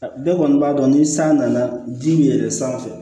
Bɛɛ kɔni b'a dɔn ni san nana ji bɛ yɛlɛ sanfɛ